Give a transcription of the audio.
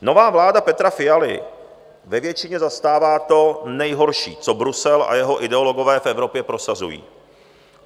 Nová vláda Petra Fialy ve většině zastává to nejhorší, co Brusel a jeho ideologové v Evropě prosazují.